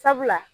Sabula